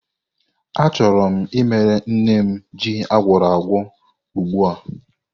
Achọrọ m imere nne m ji agwuoragwo ugbu a.